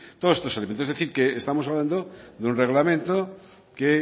todos esto elementos es decir que estamos hablando de un reglamento que